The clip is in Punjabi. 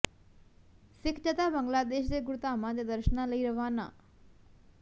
ਸਿੱਖ ਜਥਾ ਬੰਗਲਾਦੇਸ਼ ਦੇ ਗੁਰਧਾਮਾਂ ਦੇ ਦਰਸ਼ਨਾਂ ਲਈ ਰਵਾਨਾ